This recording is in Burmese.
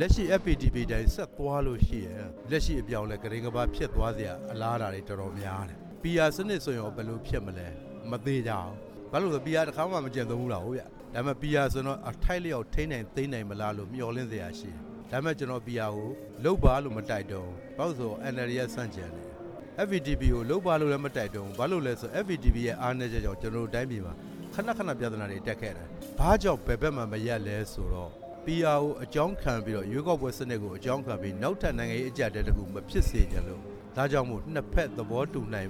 လက်ရှိ FPTP အတိုင်း ဆက်သွားလို့ရှိရင် လက်ရှိ အပြောင်းအလဲ ကတိမ်းကပါးဖြစ်သွားစရာ အလားအလာတွေ တော်တော်များတယ်၊ PR စနစ် ဆိုရင်ရော ဘယ်လိုဖြစ်မလဲ၊ မသေချာဘူး၊ ဘာကြောင့်လဲဆိုတော့ PR က တခါမှမကျင့်သုံးဖူး တာ ကိုးဗျ၊ ဒါပေမဲ့ PR ဆိုရင်တော့ အထိုက်လျောက် ထိန်းနိုင်သိမ်းနိုင်မလားလို့ မျှော်လင့်စရာရှိတယ်၊ ဒါပေမဲ့ ကျနော် PR ကို လုပ်ပါလို့ မတိုက်တွန်းဘူး၊ FPTP ကို လုပ်ပါလို့လည်း မတိုက်တွန်းဘူး၊ ဘာကြောင့်လဲဆိုတော့ FPTP ရဲ့ အားနည်းချက်ကြောင့် ကျနော်တို့ တိုင်းပြည်မှာ ခဏခဏပြဿနာတွေတက်ခဲ့တယ်၊ PR ရွေးကောက်ပွဲစနစ် ကို အကြောင်းခံပြီး နောက်ထပ်နိုင်ငံရေး အကျပ်အတည်းတစ်ခု မဖြစ်စေချင်လို့ ဒါကြောင့်မို့ နှစ်ဖက် သဘောတူနိုင်